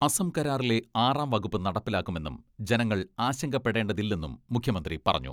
അസം കരാറിലെ ആറാം വകുപ്പ് നടപ്പിലാക്കുമെന്നും ജനങ്ങൾ ആശങ്കപ്പെടേതില്ലെന്നും മുഖ്യമന്ത്രി പറഞ്ഞു.